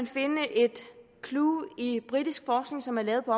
findes et clue i britisk forskning som er lavet på